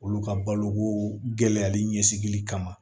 Olu ka baloko gɛlɛyali ɲɛsigili kama